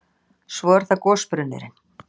Svo er það gosbrunnurinn.